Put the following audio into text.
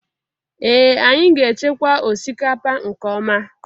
Ee Anyị ga-echekwa osikapa nke ọma.